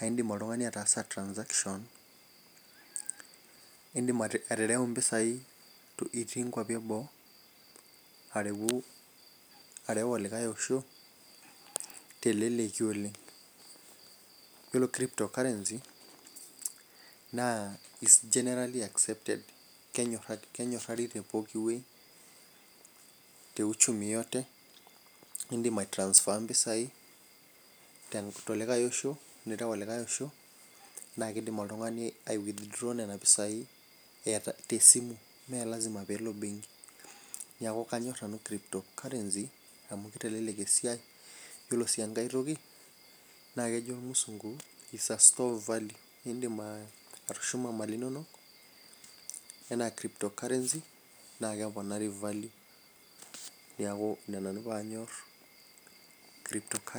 aa kidim oltungani ataasa transaction .idim atereu mpisai itii nkuapi eboo, areu olosho teleleki oleng. ore crypto currency naa it's generally accepted kenyorari te pooki wueji te uchumi yote idim ai transfer mpisai telokae Osho, nireu olikae osho. naa kidim oltungani ai withdraw Nena pisai tebenki ime lasima pee eleo benki. niaku kanyor nanu crypto currency amu kitelelel esiai. iyiolo sii enkae toki na kejo ilmusungu is a store of money idim atushuma iropiyiani inonok. enaa crypto currency naa keponari value .neiaku Ina nanu pee anymore.